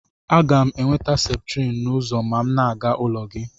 Aga m enweta septrin n'ụzọ ma m na-aga n'ụlọ gị